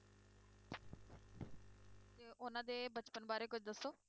ਤੇ ਉਹਨਾਂ ਦੇ ਬਚਪਨ ਬਾਰੇ ਕੁੱਝ ਦੱਸੋ।